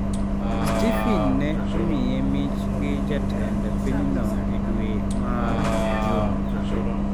Stephen ne omiye mich gi jatend pinyno e dwe mar Jun.